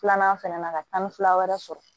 Filanan fɛnɛ na ka taa ni fila wɛrɛ sɔrɔ